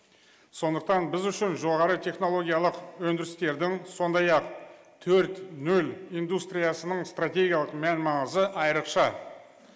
сондықтан біз үшін жоғары технологиялық өндірістердің сондай ақ төрт нөл индустриясының стратегиялық мән маңызы айрықша